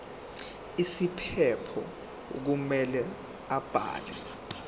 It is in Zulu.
isiphephelo kumele abhale